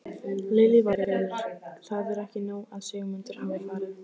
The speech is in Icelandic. Lillý Valgerður: Það er ekki nóg að Sigmundur hafi farið?